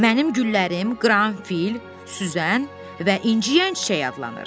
Mənim güllərim qaranfil, süzən və inciyən çiçək adlanır.